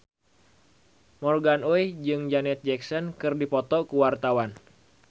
Morgan Oey jeung Janet Jackson keur dipoto ku wartawan